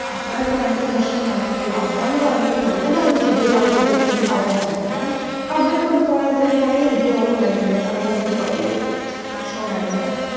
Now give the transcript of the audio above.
അത്രക്കും ഭയങ്കര വെഷമം ആണ് lock down എന്നത് പറയുന്നത് നല്ലതാണ് ചീത്തതാണ് എന്ന actually എനിക്ക് പറയാൻ പറ്റില്ല കാരണം lock down കൊണ്ട് കൊറേ ആള്കാര്ക് കൊറേ ഉപയോഗം ഇണ്ടായിട്ടുണ്ട് അത്പോലെ തന്നെ കൊറേ നാശവും ഇണ്ടായിട്ടുണ്ട്